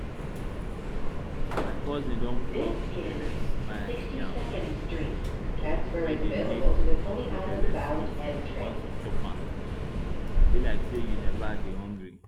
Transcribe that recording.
my cousin don pluck belly smile yam wey dey make hungry belle sweet once you chop am e be like say you never dey hungry